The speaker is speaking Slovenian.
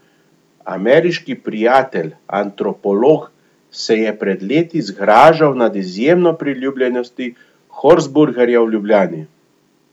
Ameriški prijatelj, antropolog, se je pred leti zgražal nad izjemno priljubljenostjo horseburgerja v Ljubljani.